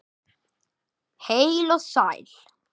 Heil og sæl.